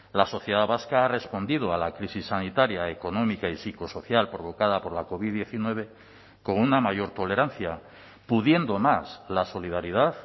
la sociedad vasca ha respondido a la crisis sanitaria económica y psicosocial provocada por la covid diecinueve con una mayor tolerancia pudiendo más la solidaridad